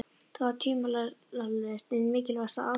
Það var tvímælalaust ein mikilvægasta ástæðan.